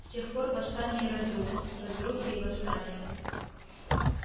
с тех пор восстания и разрухи разрухи и восстания